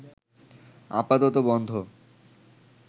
আপাতত বন্ধ